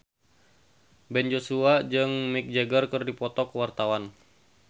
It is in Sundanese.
Ben Joshua jeung Mick Jagger keur dipoto ku wartawan